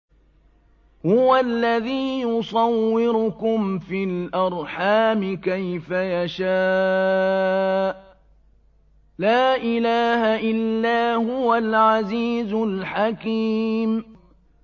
هُوَ الَّذِي يُصَوِّرُكُمْ فِي الْأَرْحَامِ كَيْفَ يَشَاءُ ۚ لَا إِلَٰهَ إِلَّا هُوَ الْعَزِيزُ الْحَكِيمُ